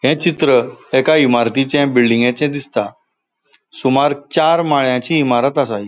ये चित्र एका इमारतीचे बिल्डिंगेचे दिसता. सुमार चार माळ्याची इमारत असा इ ---